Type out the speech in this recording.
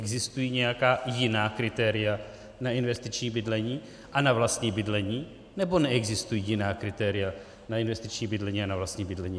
Existují nějaká jiná kritéria na investiční bydlení a na vlastní bydlení, nebo neexistují jiná kritéria na investiční bydlení a na vlastní bydlení?